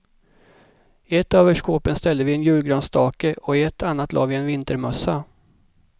I ett av överskåpen ställde vi en julgransstake och i ett annat la vi en vintermössa.